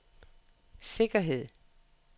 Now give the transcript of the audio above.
sikkerhed